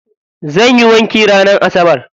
Zan yi wanki ranar asabar.